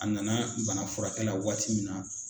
A nana bana furakɛla waati min na.